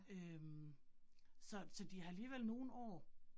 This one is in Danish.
Øh så så de har alligevel nogle år